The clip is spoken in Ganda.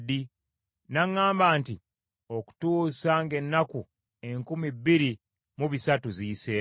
N’aŋŋamba nti, “Okutuusa ng’ennaku enkumi bbiri mu bisatu ziyiseewo.”